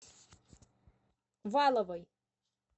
валовой